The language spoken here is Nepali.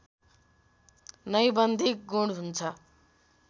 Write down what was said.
नैबन्धिक गुण हुन्छ